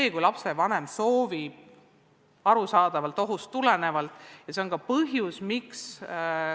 Aga kui lapsevanem soovib ohust tulenevalt distantsõpet jätkata, siis on see võimalus olemas.